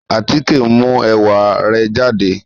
Àtike n mu ẹ̀wà re jàdé